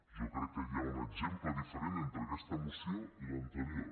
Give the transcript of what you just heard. jo crec que hi ha un exemple diferent entre aquesta moció i l’anterior